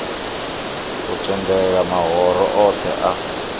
u tendela mahoro othe a